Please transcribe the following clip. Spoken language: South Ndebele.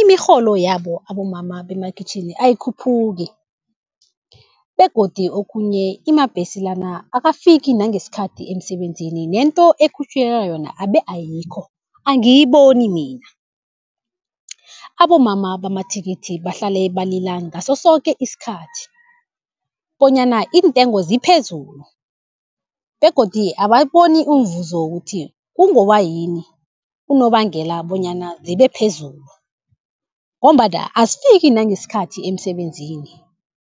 imirholo yabo abomama bemakhitjhini ayikhuphuki begodu okhunye amabhesi lana akafiki nangesikhathi emsebenzini nento ekhutjhulelwa yona abe ayikho angiyiboni mina. Abomama bamathikithi bahlale balila ngaso soke isikhathi, bonyana iintengo ziphezulu begodu abawuboni umvuzo wokuthi kungoba yini unobangela bonyana zibe phezulu, ngombana azifiki nangesikhathi emsebenzini.